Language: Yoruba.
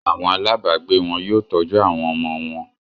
Àwọn alábàágbé wọn yóò tọ́jú àwọn ọmọ wọn.